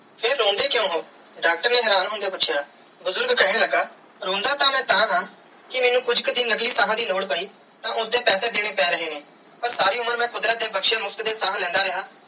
ਫਿਰ ਰੋਂਦੇ ਕ੍ਯੂਂ ਹੋ ਡਾਕਟਰ ਨੇ ਹੈਰਾਨ ਹੋਂਦਿਆ ਪੂਛਿਆ ਬੁਜ਼ਰਗ ਕੇਹਨ ਲਗਾ ਰੋਂਦਾ ਤੇ ਮੈਂ ਤਹਾ ਕੇ ਕੁਜ ਕਰਿ ਨਕਲੀ ਸਾਹ ਦੀ ਲੋੜ ਪੈ ਤੇ ਓਦੇ ਪੈਸੇ ਦੇਣੇ ਪੈ ਰਹੇ ਨੇ ਪਾਰ ਸਾਰੀ ਉਮਰ ਮੈਂ ਕੁਦਰਤ ਦੀ ਬਖਸ਼ੀ ਮੁਫ਼ਤ ਦੀਆ ਸਾਹ ਲੈਂਦਾ ਰਿਆ.